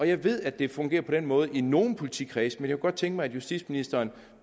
jeg ved at det fungerer på den måde i nogle politikredse men jeg kunne godt tænke mig at justitsministeren